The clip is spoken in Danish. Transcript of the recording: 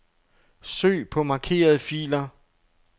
Søg på markerede filer.